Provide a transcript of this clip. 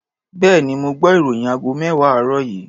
Bẹ́ẹ̀ni, mo gbọ́ ìròyìn aago mẹ́wàá àárọ̀ yìí.